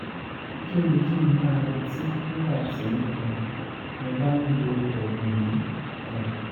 kí ni kí n máa retí nígbà tí um mo bá ń lo oògùn yìí? um